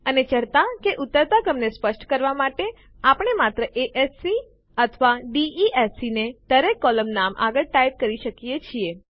અને ચઢતા કે ઉતરતા ક્રમને સ્પષ્ટ કરવાં માટે આપણે માત્ર એ એસ સી અથવા ડી ઇ એસ સી ને દરેક કોલમ નામ આગળ ટાઈપ કરી શકીએ છીએ